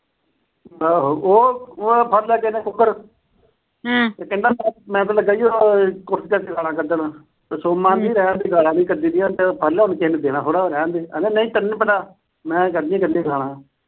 ਉਹ ਅਹ ਉਹ ਫੜ ਲਿਆ ਕਿਸੇ ਨੇ ਕੁੱਕੜ। ਤੇ ਕਹਿੰਦਾ ਮੈਂ ਤਾਂ ਲੱਗਿਆ ਸੀ ਕੁਰਸੀ ਚੁੱਕ ਕੇ ਗਾਲਾਂ ਕੱਢਣ ਤੇ ਸੋਮਾ ਨੀ ਕਹਿੰਦਾ ਗਾਲਾਂ ਨੀ ਕੱਢੀ ਦੀਆਂ ਤੇ ਰਹਿਣ ਦੇ। ਕਹਿੰਦਾ ਨਹੀਂ ਤੈਨੂੰ ਨੀ ਪਤਾ। ਮੈਂ ਕੱਢਣੀਆਂ ਈ ਕੱਢਣੀਆਂ ਗਾਲਾਂ।